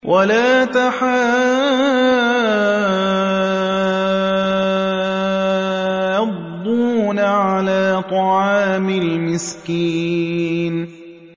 وَلَا تَحَاضُّونَ عَلَىٰ طَعَامِ الْمِسْكِينِ